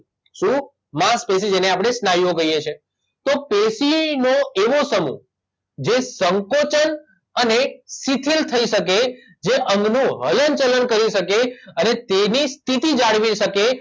શું માંસપેશી જેને આપડે સ્નાયુઓ કહીએ છીએ તો પેશીનો એવો સમૂહ જે સંકોચન અને શિથિલ થઇ શકે જે અંગનું હલનચલન કરી શકે અને તેની સ્થિતિ જાળવી શકે